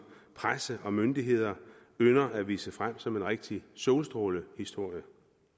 presse og myndigheder ynder at vise frem som en rigtig solstrålehistorie